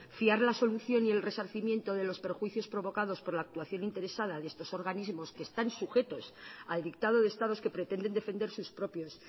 fiar la solución y el resarcimiento de los perjuicios provocados por la actuación interesada de estos organismos que están sujetos al dictado de estados que pretenden defender sus propios